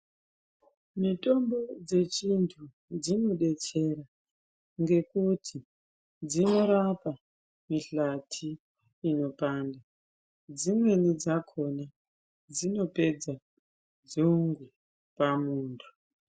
Mitombo dzechintu dzinodetsera ngekuti dzinorapa mihlati inopanda dzimweni dzakona dzinopedza dzungu pamuntu.